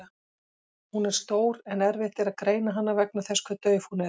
Hún er stór en erfitt er að greina hana vegna þess hve dauf hún er.